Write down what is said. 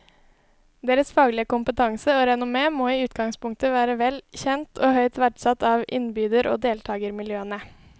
Deres faglige kompetanse og renommé må i utgangspunktet være vel kjent og høyt verdsatt av innbyder og deltagermiljøene.